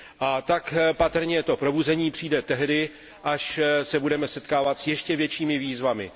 A tak patrně to probuzení přijde tehdy, až se budeme setkávat s ještě většími výzvami.